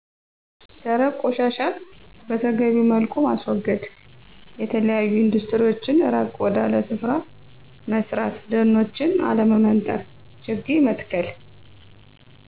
ደረቅ ቆሻሻዎችን በተገቢዉ መልኩ ማስወገድ፣ የተለያዮ ኢንዱስትሪዎችን ራቅ ወዳለ ስፍራ መስራት ደኖችን አለመመንጠር፣ ችግኝ መትከል